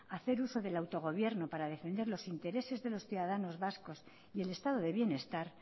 hacer uso del autogobierno para defender los intereses de los ciudadanos vascos y el estado de bienestar